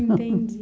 Entendi.